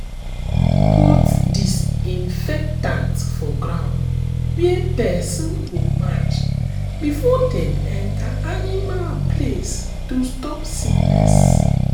put disinfectant for ground where person go match before dem enter animal place to stop sickness.